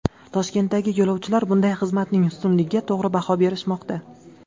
Toshkentdagi yo‘lovchilar bunday xizmatning ustunligiga to‘g‘ri baho berishmoqda.